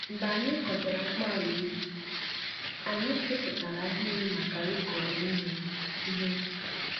Mgbe anyị kọchara mkpu ala ubi, anyị keputara ahịrị maka ịkụ Ihe Ihe